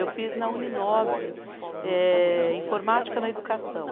Eu fiz na Uni nove, eh informática na educação.